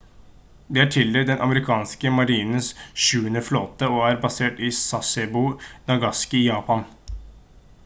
den er tildelt den amerikanske marinens sjuende flåte og er basert i sasebo nagasaki i japan